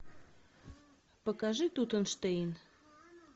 покажи тутенштейн